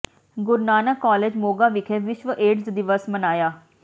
ਗੁਰੂ Nanak college Moga ਵਿਖੇ ਵਿਸ਼ਵ AIDS ਦਿਵਸ ਮਨਾਇਆ